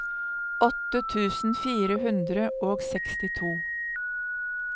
åtte tusen fire hundre og sekstito